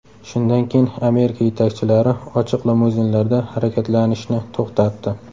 Shundan keyin Amerika yetakchilari ochiq limuzinlarda harakatlanishni to‘xtatdi.